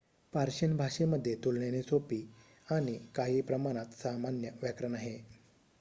Persian भाषेमध्ये तुलनेने सोपे आणि काही प्रमाणात सामान्य व्याकरण आहे